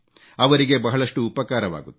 ಅವರಿಗೆ ಬಹಳಷ್ಟು ಉಪಕಾರವಾಗುತ್ತದೆ